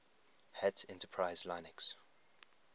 hat enterprise linux